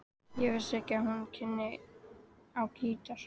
Ég vissi ekki að þú kynnir á gítar.